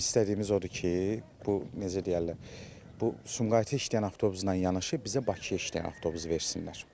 Bizim istədiyimiz odur ki, bu, necə deyərlər, bu Sumqayıta işləyən avtobusla yanaşı bizə Bakıya işləyən avtobus versinlər.